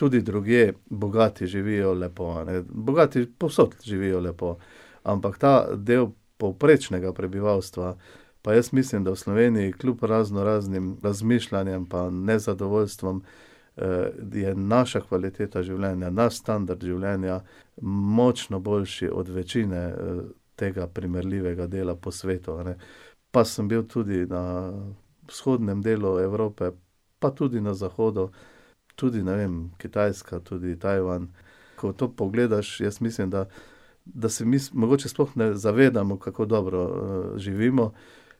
Tudi drugje bogati živijo lepo, a ne, bogati povsod živijo lepo. Ampak ta del povprečnega prebivalstva pa jaz mislim, da v Sloveniji kljub raznoraznim razmišljanjem pa nezadovoljstvom, je naša kvaliteta življenja, naš standard življenja močno boljši od večine, tega primerljivega dela po svetu, a ne. Pa sem bil tudi na vzhodnem delu Evrope, pa tudi na zahodu, tudi, ne vem, Kitajska, tudi Tajvan ... Ko to pogledaš, jaz mislim, da, da se mi mogoče sploh ne zavedamo, kako dobro, živimo,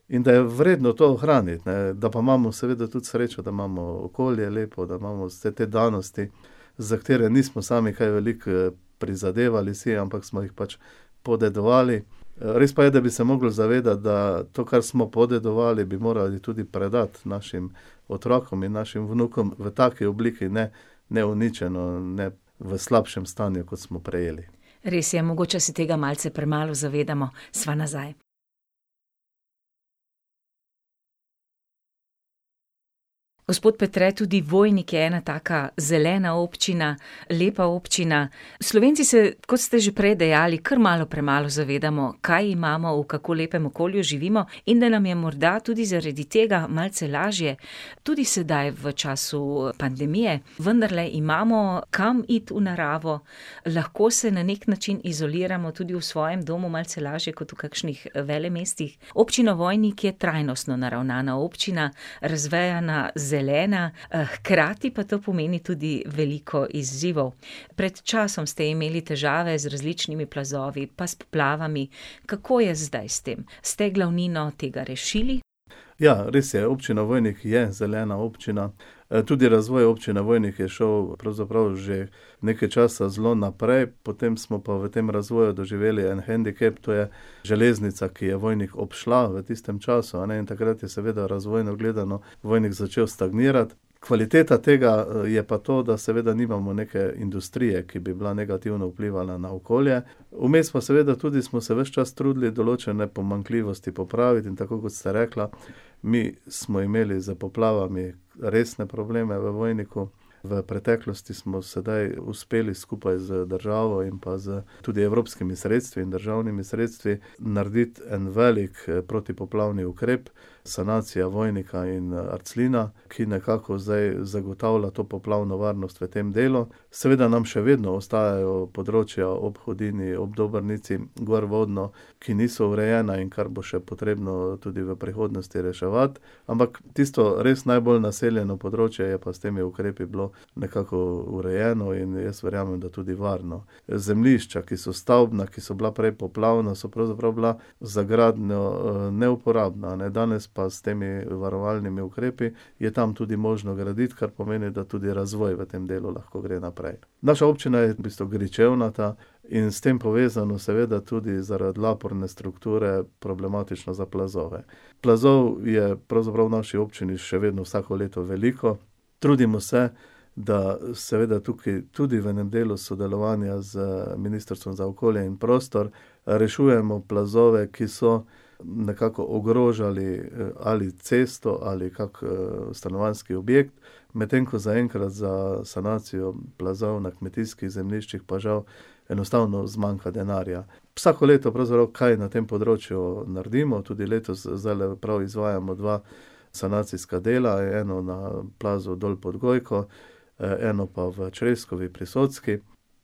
in da je vredno to ohraniti, ne, da pa imamo seveda tudi srečo, da imamo okolje lepo, da imamo vse te danosti, za katere nismo sami kaj veliko, prizadevali si, ampak smo jih pač podedovali. res pa je, da bi se mogli zavedati, da to, kar smo podedovali, bi morali tudi predati našim otrokom in našim vnukom v taki obliki, ne, neuničeno, ne v slabšem stanju, kot smo prejeli. Res je, mogoče se tega malce premalo zavedamo. Sva nazaj. Gospod Petre, tudi Vojnik je ena taka zelena občina, lepa občina. Slovenci se, kot ste že prej dejali, kar malo premalo zavedamo, kaj imamo, v kako lepem okolju živimo in da nam je morda tudi zaradi tega malce lažje, tudi sedaj v času pandemije. Vendarle imamo kam iti v naravo, lahko se na neki način izoliramo tudi v svojem domu malce lažje kot v kakšnih velemestih. Občina Vojnik je trajnostno naravnana občina. Razvejana, zelena, hkrati pa to pomeni tudi veliko izzivov. Pred časom ste imeli težave z različnimi plazovi pa s poplavami. Kako je zdaj s tem? Ste glavnino tega rešili? Ja, res je, Občina Vojnik je zelena občina. tudi razvoj Občine Vojnik je šel pravzaprav že nekaj časa zelo naprej, potem smo pa v tem razvoju doživeli en hendikep, to je železnica, ki je Vojnik obšla v tistem času, a ne, in takrat je seveda razvojno gledano Vojnik začel stagnirati. Kvaliteta tega, je pa to, da seveda nimamo neke industrije, ki bi bila negativno vplivala na okolje. Vmes pa seveda tudi smo se ves čas trudili določene pomanjkljivosti popraviti in tako, kot ste rekla, mi smo imeli s poplavami resne probleme v Vojniku, v preteklosti smo sedaj uspeli skupaj z državo in pa s tudi evropskimi sredstvi in državnimi sredstvi narediti en velik, protipoplavni ukrep, sanacija Vojnika, in, Arclina, ki nekako zdaj zagotavlja to poplavno varnost v tem delu, seveda nam še vedno ostajajo področja ob Hudinji, ob Dobrnici, gorvodno, ki niso urejena, in kar bo še potrebno tudi v prihodnosti reševati. Ampak tisto res najbolj naseljeno področje je pa s temi ukrepi bilo nekako urejeno in jaz verjamem, da tudi varno. Zemljišča, ki so stavbna, ki so bila prej poplavna, so pravzaprav bila za gradnjo, neuporabna, ne, danes pa s temi varovalnimi ukrepi je tam tudi možno graditi, kar pomeni, da tudi razvoj v tem delu lahko gre naprej. Naša občina je v bistvu gričevnata in s tem povezano seveda tudi zaradi laporne strukture problematično za plazove. Plazov je pravzaprav v naši občini še vedno vsako leto veliko, trudimo se, da seveda tukaj tudi v enem delu sodelovanja z ministrstvom za okolje in prostor, rešujemo plazove, ki so nekako ogrožali, ali cesto ali kako, stanovanjski objekt, medtem ko zaenkrat za sanacijo plazov na kmetijskih zemljiščih pa žal enostavno zmanjka denarja. Vsako leto pravzaprav kaj na tem področju naredimo, tudi letos zdajle prav izvajamo dva sanacijska dela, eno na plazu dol pod Gojko, eno pa v Čreskovi pri Socki.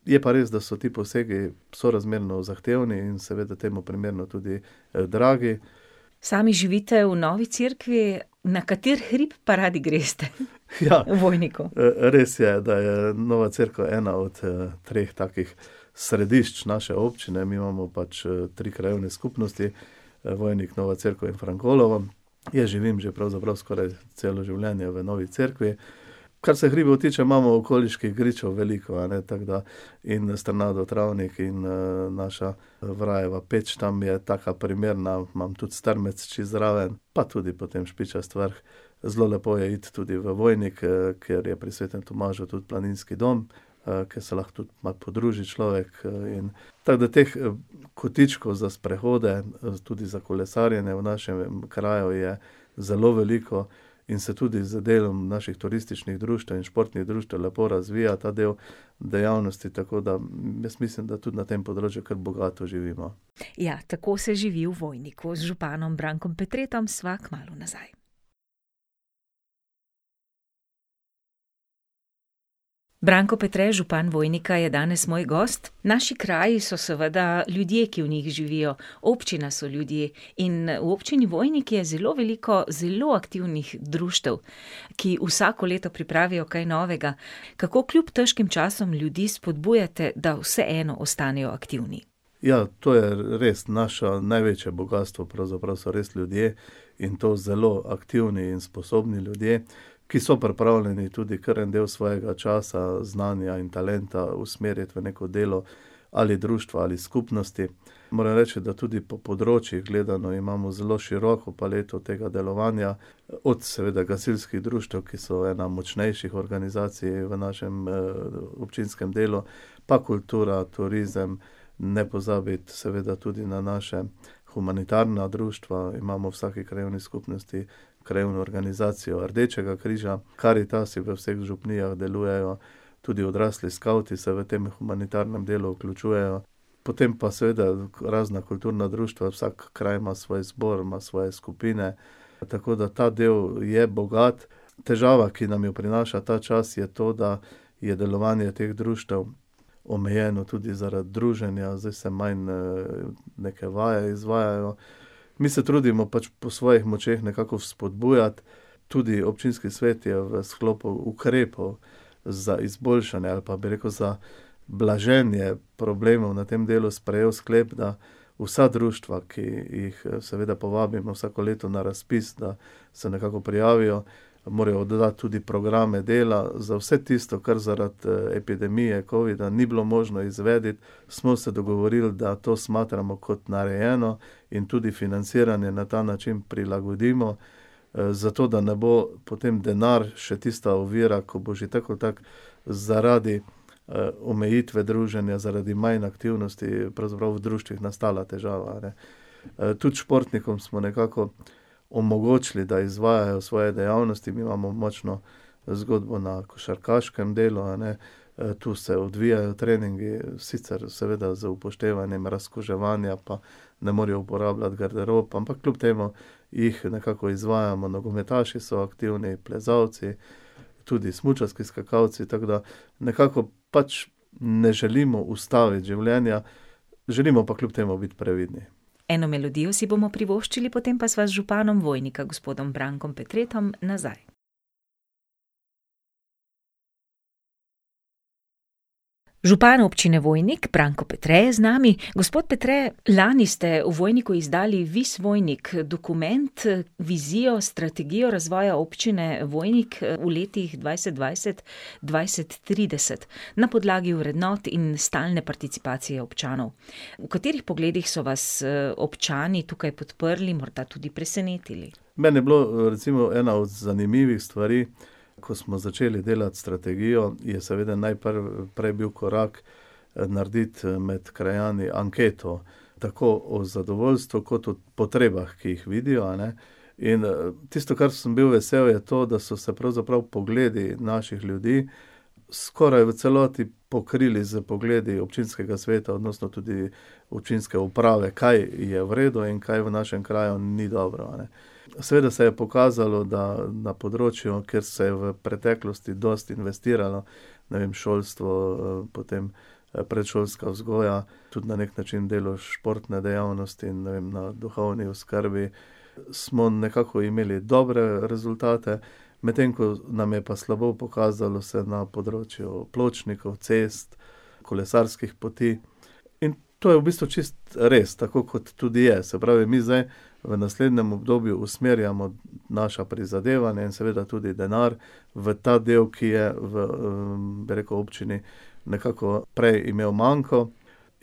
Je pa res, da so ti posegi sorazmerno zahtevni in seveda temu primerno tudi, dragi. Sami živite v Novi Cerkvi, na kateri hrib pa radi greste? V Vojniku. res je, da je Nova Cerkev ena od, treh takih središč naše občine, mi imamo pač, tri krajevne skupnosti, Vojnik, Nova Cerkev in Frankolovo. Jaz živim že pravzaprav skoraj celo življenje v Novi Cerkvi. Kar se hribov tiče, imamo okoliških gričev veliko, a ne, tako da, in Strnadov travnik in, naša Vrajeva peč, tam je taka primerna, imam tudi Strmec čisto zraven, pa tudi potem Špičasti vrh. Zelo lepo je iti tudi v Vojnik, ker je pri Svetem Tomažu tudi planinski dom, ke se lahko tudi malo podruži človek, in ... Tako da teh, kotičkov za sprehode, tudi za kolesarjenje v našem kraju je zelo veliko in se tudi z delom naših turističnih društev in športnih društev lepo razvija ta del dejavnosti, tako da, jaz mislim, da tudi na tem področju kar bogato živimo. Ja, tako se živi v Vojniku. Z županom Brankom Petretom sva kmalu nazaj. Branko Petre, župan Vojnika, je danes moj gost. Naši kraji so seveda ljudje, ki v njih živijo. Občina so ljudje. In v Občini Vojnik je zelo veliko zelo aktivnih društev, ki vsako leto pripravijo kaj novega. Kako kljub težkim časom ljudi spodbujate, da vseeno ostanejo aktivni? Ja, to je res naše največje bogastvo, pravzaprav so res ljudje, in to zelo aktivni in sposobni ljudje, ki so pripravljeni tudi kar en del svojega časa, znanja in talenta usmeriti v neko delo, ali društva ali skupnosti. Moram reči, da tudi po področjih gledano imamo zelo široko paleto tega delovanja, od seveda gasilskih društev, ki so ena močnejših organizacij v našem, občinskem delu, pa kultura, turizem, ne pozabiti seveda tudi na naša, humanitarna društva imamo v vsaki krajevni skupnosti, krajevno organizacijo Rdečega križa, Karitasi v vseh župnijah delujejo, tudi odrasli skavti se v tem humanitarnem delu vključujejo. Potem pa seveda razna kulturna društva, vsak kraj ima svoj zbor, ima svoje skupine, tako da ta del je bogat. Težava, ki nam jo prinaša ta čas, je to, da je delovanje teh društev omejeno tudi zaradi druženja, zdaj se manj, neke vaje izvajajo. Mi se trudimo pač po svojih močeh nekako vzpodbujati, tudi občinski svet je v sklopu ukrepov za izboljšanje, ali pa bi rekel za blaženje problemov na tem delu, sprejel sklep na vsa društva, ki jih, seveda povabimo vsako leto na razpis, da se nekako prijavijo. Morajo oddati tudi programe dela, za vse tisto, kar zaradi epidemije covida ni bilo možno izvesti, smo se dogovorili, da to smatramo kot narejeno in tudi financiranje na ta način prilagodimo, zato, da ne bo potem denar še tista ovira, ko bo že tako ali tako zaradi, omejitve druženja, zaradi manj aktivnosti pravzaprav v društvih nastala težava, a ne. tudi športnikom smo nekako omogočili, da izvajajo svoje dejavnosti, mi imamo močno zgodbo na košarkaškem delu, a ne, to se odvijajo treningi, sicer seveda z upoštevanjem razkuževanja pa ne morejo uporabljati garderob, ampak kljub temu jih nekako izvajamo. Nogometaši so aktivni, plezalci, tudi smučarski skakalci, tako da nekako pač ne želimo ustaviti življenja, želimo pa kljub temu biti previdni. Eno melodijo si bomo privoščili, potem pa sva z županom Vojnika, gospodom Brankom Petretom, nazaj. Župan Občine Vojnik, Branko Petre, je z nami. Gospod Petre, lani ste v Vojniku izdali Vis Vojnik, dokument, vizijo, strategijo razvoja občine Vojnik, v letih dvajset dvajset- dvajset trideset, na podlagi vrednot in stalne participacije občanov. V katerih pogledih so vas, občani tukaj podprli, morda tudi presenetili? Meni je bilo, recimo ena od zanimivih stvari, ko smo začeli delati strategijo, je seveda prej je bil korak, narediti med krajani anketo. Tako o zadovoljstvu kot o potrebah, ki jih vidijo, a ne. In, tisto, kar sem bil vesel, je to, da so se pravzaprav pogledi naših ljudi skoraj v celoti pokrili s pogledi občinskega sveta, odnosno tudi občinske uprave, kaj je v redu in kaj v našem kraju ni dobro, a ne. Seveda se je pokazalo, da na področju, kjer se je v preteklosti dosti investiralo, ne vem, šolstvo, potem, predšolska vzgoja, tudi na neki način delo športne dejavnosti in, ne vem, na duhovni oskrbi, smo nekako imeli dobre rezultate, medtem ko nam je pa slabo pokazalo se na področju pločnikov, cest, kolesarskih poti in to je v bistvu čisto res, tako kot tudi je, se pravi, mi zdaj v naslednjem obdobju usmerjamo naša prizadevanja in seveda tudi denar v ta del, ki je v, bi rekel, občini nekako prej imel manko.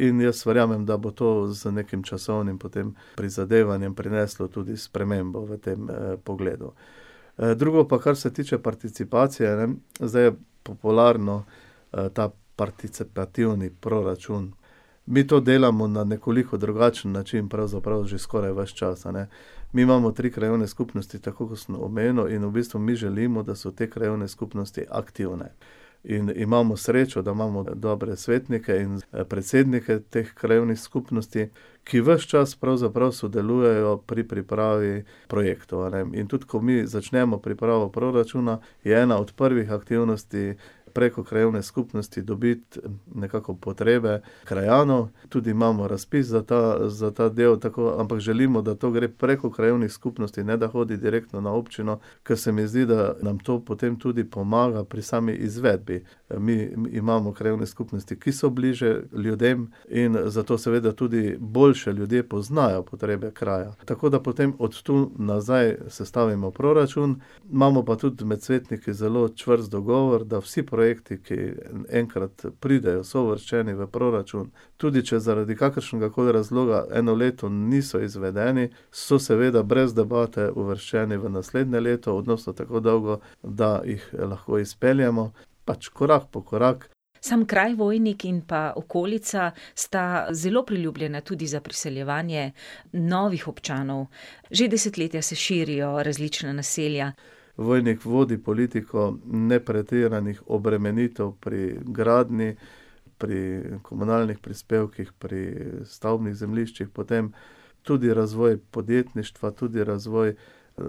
In jaz verjamem, da bo to z nekim časovnim potem prizadevanjem prineslo tudi spremembo v tem pogledu. drugo pa, kar se tiče participacije, zdaj je popularen, ta participativni proračun. Mi to delamo na nekoliko drugačen način, pravzaprav že skoraj ves čas, a ne. Mi imamo tri krajevne skupnosti, tako kot sem omenil, in v bistvu mi želimo, da so te krajevne skupnosti aktivne. In imamo srečo, da imamo, ne, dobre svetnike in, predsednika teh krajevnih skupnosti, ki ves čas pravzaprav sodelujejo pri pripravi projektov, a ne. In tudi ko mi začnemo pripravo proračuna, je ena od prvih aktivnosti preko krajevne skupnosti dobiti nekako potrebe krajanov, tudi imamo razpis za ta, za ta del, tako, ampak želimo, da to gre preko krajevnih skupnosti, ne da vodi direktno na občino, kar se mi zdi, da nam to potem tudi pomaga pri sami izvedbi. mi imamo krajevne skupnosti, ki so bliže ljudem, in zato seveda tudi boljše ljudi poznajo, potrebe krajev. Tako da potem od tu nazaj sestavimo proračun, imamo pa tudi med svetniki zelo čvrst dogovor, da vsi projekti, ki, enkrat pridejo, so uvrščeni v proračun, tudi če zaradi kakršnegakoli razloga eno leto niso izvedeni, so seveda brez debate uvrščeni v naslednje leto, odnosno tako dolgo, da jih lahko izpeljemo. Pač korak po korak. Samo kraj Vojnik in pa okolica sta zelo priljubljena tudi za priseljevanje novih občanov. Že desetletja se širijo različna naselja. Vojnik vodi politiko nepretiranih obremenitev pri gradnji, pri komunalnih prispevkih, pri stavbnih zemljiščih, potem tudi razvoj podjetništva, tudi razvoj,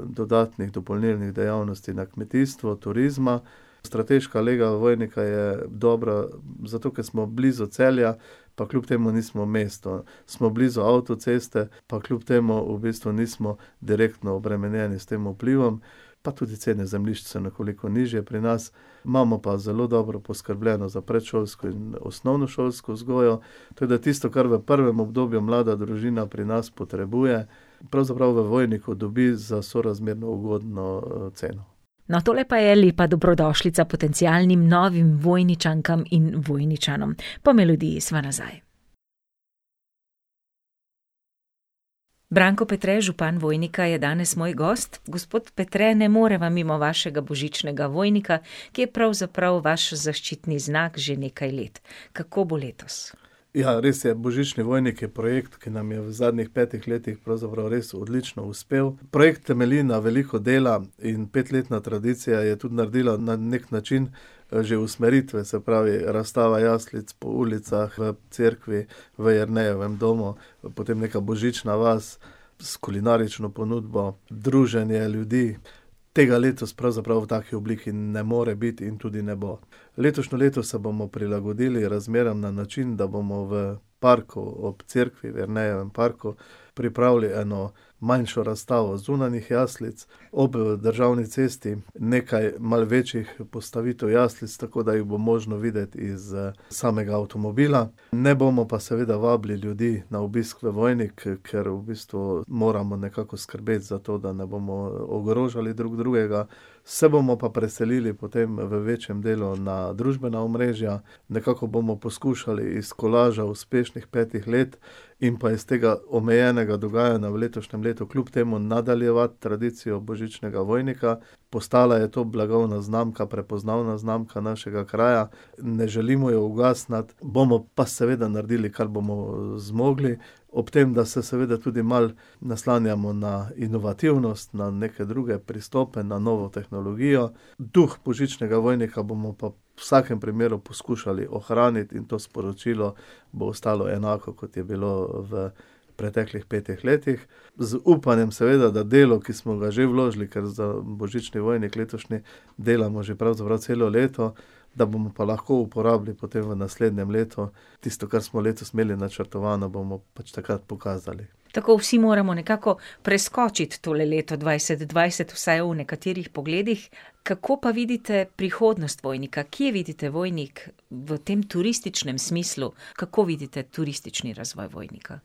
dodatnih dopolnilnih dejavnosti na kmetijstvu, turizma. Strateška lega Vojnika je dobra zato, ker smo blizu Celja, pa kljub temu nismo v mestu. Smo blizu avtoceste, pa kljub temu v bistvu nismo direktno obremenjeni s tem vplivom. Pa tudi cene zemljišč so nekoliko nižje pri nas. Imamo pa zelo dobro poskrbljeno za predšolsko in osnovnošolsko vzgojo, tako da tisto, kar v prvem obdobju mlada družina pri nas potrebuje, pravzaprav v Vojniku dobi za sorazmerno ugodno, ceno. No, tole pa je lepa dobrodošlica potencialnim novim Vojničankam in Vojničanom. Po melodiji sva nazaj. Branko Petre, župan Vojnika, je danes moj gost. Gospod Petre, ne moreva mimo vašega Božičnega Vojnika, ki je pravzaprav vaš zaščitni znak že nekaj let. Kako bo letos? Ja, res je, Božični Vojnik je projekt, ki nam je v zadnjih petih letih pravzaprav res odlično uspel. Projekt temelji na veliko dela in petletna tradicija je tudi naredila na neki način, že usmeritve, se pravi, razstava jaslic po ulicah v cerkvi, v Jernejevem domov, potem neka božična vas s kulinarično ponudbo, druženje ljudi. Tega letos pravzaprav v taki obliki ne more biti in tudi ne bo. Letošnje leto se bomo prilagodili razmeram na način, da bomo v parku ob cerkvi, v Jernejevem parku, pripravili eno manjšo razstavo zunanjih jaslic, ob državni cesti nekaj malo večjih postavitev jaslic, tako da jih bo možno videti iz, samega avtomobila. Ne bomo pa seveda vabili ljudi na obisk v Vojnik, ker v bistvu moramo nekako skrbeti za to, da ne bomo ogrožali drug drugega. Se bomo pa preselili potem v večjem delu na družbena omrežja. Nekako bomo poskušali iz kolaža uspešnih petih let in pa iz tega omejenega dogajanja v letošnjem letu kljub temu nadaljevati tradicijo Božičnega Vojnika. Postala je to blagovna znamka, prepoznavna znamka našega kraja. Ne želimo je ugasniti, bomo pa seveda naredili, kar bomo zmogli. Ob tem, da se seveda tudi malo naslanjamo na inovativnost, na neke druge pristope, na novo tehnologijo. Duh Božičnega Vojnika bomo pa v vsakem primeru poskušali ohraniti in to sporočilo bo ostalo enako, kot je bilo v preteklih petih letih. Z upanjem, seveda, da delo, ki smo ga že vložili, ker za Božični Vojnik letošnji delamo že pravzaprav celo leto, da bomo pa lahko uporabili potem v naslednjem letu. Tisto, kar smo letos imeli načrtovano, bomo pač takrat pokazali. Tako, vsi moramo nekako preskočiti tole leto dvajset dvajset, vsaj v nekaterih pogledih. Kako pa vidite prihodnost Vojnika, kje vidite Vojnik v tem turističnem smislu? Kako vidite turistični razvoj Vojnika?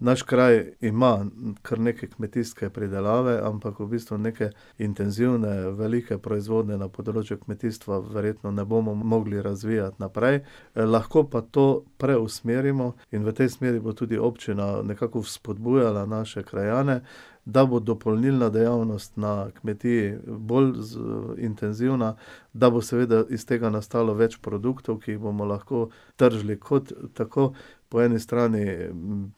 Naš kraj ima kar nekaj kmetijske pridelave, ampak v bistvu neke intenzivne velike proizvodnje na področju kmetijstva verjetno ne bomo mogli razvijati naprej. lahko pa to preusmerimo in v tej smeri bo tudi občina nekako vzpodbujala naše krajane, da bo dopolnilna dejavnost na kmetiji bolj intenzivna, da bo seveda iz tega nastalo več produktov, ki jih bomo lahko tržili, kot tako po eni strani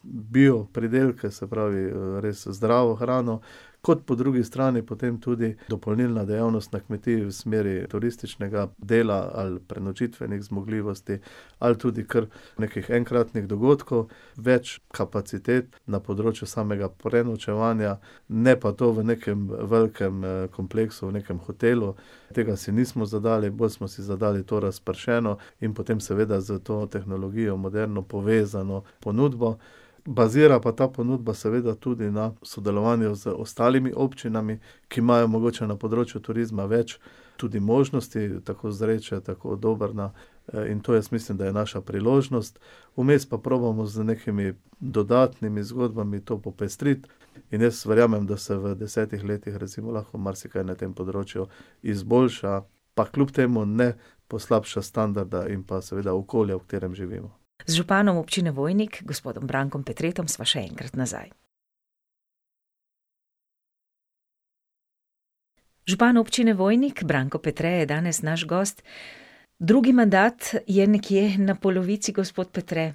bil pridelke, se pravi, res zdravo hrano, kot po drugi strani potem tudi dopolnilna dejavnost na kmetiji v smeri turističnega dela, ali prenočitvenih zmogljivosti ali tudi kar nekih enkratnih dogodkov. Več kapacitet na področju samega prenočevanja, ne pa to v nekem velikem, kompleksu, nekem hotelu. Tega si nismo zadali, bolj smo si zadali to razpršeno in, potem seveda s to tehnologijo moderno, povezano ponudbo. Bazira pa ta ponudba seveda tudi na sodelovanju z ostalimi občinami, ki imajo mogoče na področju turizma več tudi možnosti, tako Zreče, tako Dobrna, ne, in to jaz mislim, da je naša priložnost. Vmes pa probamo z nekimi dodatnimi zgodbami to popestriti. In jaz verjamem, da se v desetih letih recimo marsikaj lahko na tem področju izboljša, pa kljub temu ne poslabša standarda in pa seveda okolja, v katerem živimo. Z županom Občine Vojnik, gospodom Brankom Petretom, sva še enkrat nazaj. Župan Občine Vojnik, Branko Petre, je danes naš gost. Drugi mandat je nekje na polovici, gospod Petre.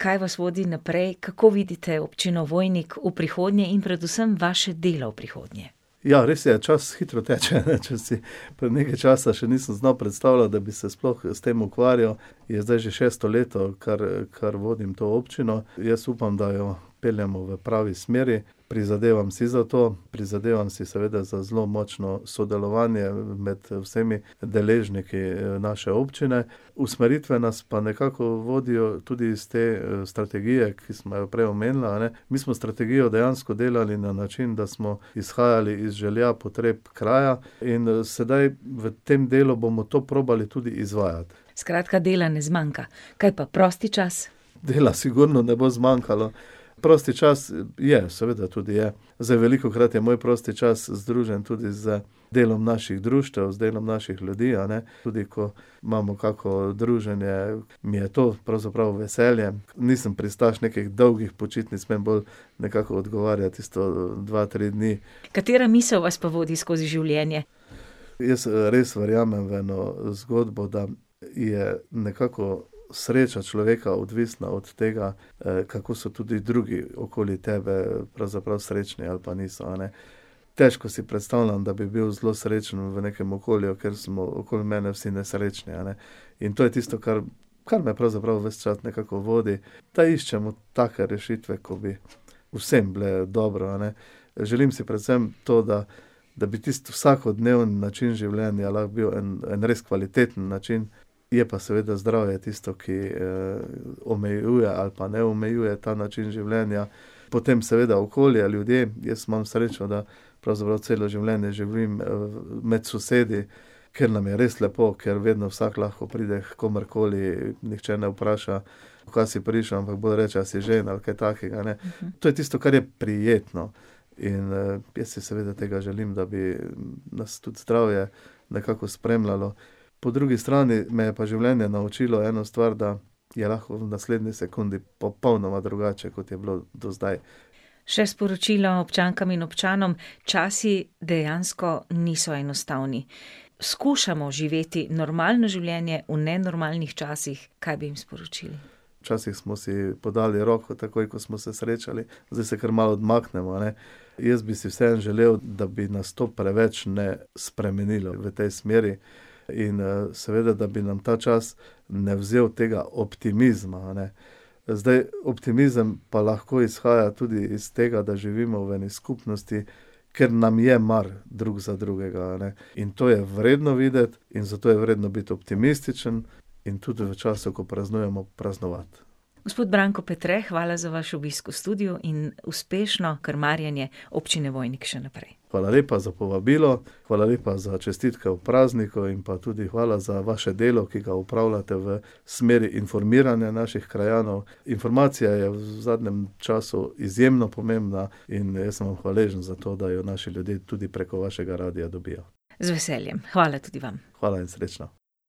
Kaj vas vodi naprej, kako vidite občino Vojnik v prihodnji in predvsem vaše delo v prihodnje? Ja, res je, čas hitro teče, ne, če si pred nekaj časa še nisem znal predstavljati, da bi se sploh s tem ukvarjal, je zdaj že šesto leto, kar, kar vodim to občino. Jaz upam, da jo peljemo v pravi smeri, prizadevam si za to, prizadevam si seveda za zelo močno sodelovanje med vsemi deležniki, naše občine, usmeritve nas pa nekako vodijo tudi s te, strategije, ki sva jo prej omenila, ne, mi smo strategijo dejansko delali na način, da smo izhajali iz želja, potreb kraja, in, sedaj v tem delu bomo to probali tudi izvajati. Skratka, dela ne zmanjka. Kaj pa prosti čas? Dela sigurno ne bo zmanjkalo. Prosti čas je, seveda tudi je. Zdaj velikokrat je moj prosti čas združen tudi z delom naših društev, z delom naših ljudi, a ne, tudi ko imamo kako druženje, mi je to pravzaprav v veselje. Nisem pristaš nekih dolgih počitnic, meni bolj nekako odgovarja tisto, dva, tri dni. Katera misel vas pa vodi skozi življenje? Jaz, res verjamem v eno zgodbo, da je nekako sreča človeka odvisna od tega, kako so tudi drugi okoli tebe pravzaprav srečni ali pa niso, a ne. Težko si predstavljam, da bi bil zelo srečen v nekem okolju, kjer smo okoli mene vsi nesrečni, a ne. In to je tisto, kar, kar me pravzaprav ves čas nekako vodi. Da iščemo take rešitve, ko bi vsem bile dobro, a ne. Želim si predvsem to, da, da bi tisti vsakodneven način življenja lahko bil en, en res kvaliteten način. Je pa seveda zdravje tisto, ki, omejuje ali pa ne omejuje ta način življenja. Potem seveda okolje, ljudje, jaz imam srečo, da pravzaprav celo življenje živim, med sosedi, kjer nam je res lepo, kjer vedno vsak lahko pride h komurkoli, nihče ne vpraša: "Kva si prišel?", ampak bolj reče: "A si žejen?" Ali kaj takega, ne. To je tisto, kar je prijetno. In, jaz si seveda tega želim, da bi nas tudi zdravje nekako spremljalo. Po drugi strani me je pa življenje naučilo eno stvar, da je lahko tudi v naslednji sekundi popolnoma drugače, kot je bilo do zdaj. Še sporočilo občankam in občanom. Časi dejansko niso enostavni. Skušamo živeti normalno življenje v nenormalnih časih. Kaj bi jim sporočili? Včasih smo si podali roko takoj, ko smo se srečali, zdaj se kar malo odmaknemo, a ne. Jaz bi si vseeno želel, da bi nas to preveč ne spremenilo v tej smeri. In, seveda, da bi nam ta čas ne vzel tega optimizma, a ne. Zdaj, optimizem pa lahko izhaja tudi iz tega, da živimo v eni skupnosti, kjer nam je mar drug za drugega, a ne. In to je vredno videti in zato je vredno biti optimističen. In tudi v času, ko praznujemo, praznovati. Gospod Branko Petre, hvala za vaš obisk v studiu in uspešno krmarjenje Občine Vojnik še naprej. Hvala lepa za povabilo, hvala lepa za čestitke ob prazniku in pa tudi hvala za vaše delo, ki ga opravljate v smeri informiranja naših krajanov. Informacija je v zadnjem času izjemno pomembna in jaz sem vam hvaležen za to, da jo v naši dolini tudi preko vašega radia dobijo. Z veseljem. Hvala tudi vam. Hvala in srečno.